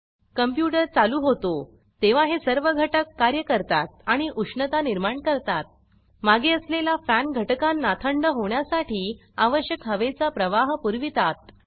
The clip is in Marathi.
कॉम्प्यूटर चालू होतो तेव्हा हे सर्व घटक कार्य करतात आणि उष्णता निर्माण करतात मागे असलेला फॅन घटकांना थंड होण्यासाठी आवश्यक हवेचा प्रवाह पुरवीतात